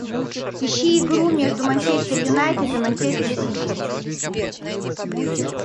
ищи игру между манчестер юнайтед и манчестер сити